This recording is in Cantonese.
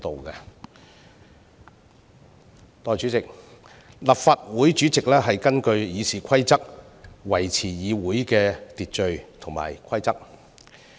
代理主席，立法會主席根據《議事規則》維持議會的秩序和規則。